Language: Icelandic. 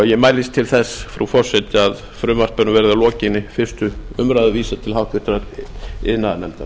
ég mælist til þess frú forseti að frumvarpinu verði að lokinni fyrstu umræðu vísað til háttvirtrar iðnaðarnefndar